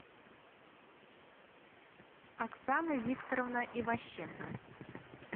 оксана викторовна иващенко